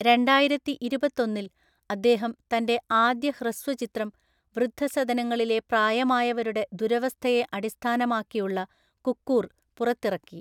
രണ്ടായിരത്തിഇരുപത്തൊന്നില്‍ അദ്ദേഹം തന്‍റെ ആദ്യ ഹ്രസ്വചിത്രം, വൃദ്ധസദനങ്ങളിലെ പ്രായമായവരുടെ ദുരവസ്ഥയെ അടിസ്ഥാനമാക്കിയുള്ള കുക്കൂർ, പുറത്തിറക്കി.